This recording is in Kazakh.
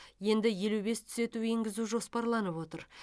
енді елу бес түзету енгізу жоспарланып отыр